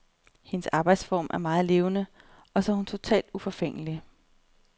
Hendes arbejdsform er meget levende, og så er hun totalt uforfængelig.